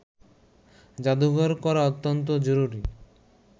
জাদুঘর করা অত্যন্ত জরুরি